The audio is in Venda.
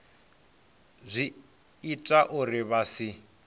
zwi ita uri vha si